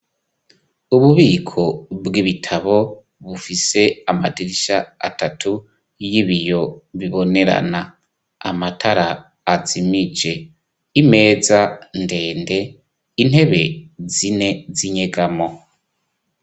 Ububiko bw' ibitabo bufise amadirisha atatu y'ibiyo bibonerana amatara azimije imeza ndende intebe zine zinyegamo.